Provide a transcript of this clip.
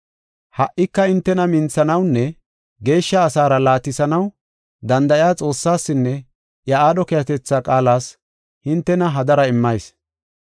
“Ha77ika hintena minthanawunne geeshsha asaara laatisanaw danda7iya Xoossaasinne iya aadho keehatetha qaalas hintena hadara immayis.